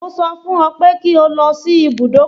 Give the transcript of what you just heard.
Mo sọ fún ọ pé kí ó lọ sí ibùdókọ̀